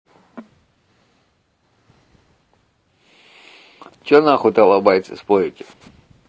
что на хуй талабайцы спорите